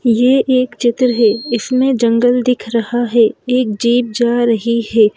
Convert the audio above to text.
ये एक चित्र है इसमें एक जंगल दिख रहा है एक जीप जा रही है।